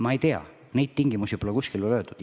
Ma ei tea, neid tingimusi pole kuskil öeldud.